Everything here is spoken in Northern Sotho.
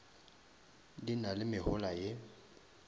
di na le mehola ye